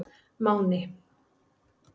Máni